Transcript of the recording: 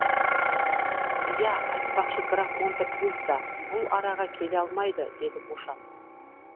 иә айтпақшы граф монте кристо бұл араға келе алмайды деді бошан